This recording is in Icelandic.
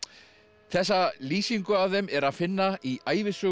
þessa lýsingu af þeim er að finna í ævisögu